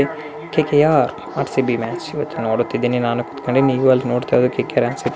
KKR RCB match ನೋಡುತ್ತಿದ್ದೇನೆ ನಾನು ಕೂತಕೊಂಡಿ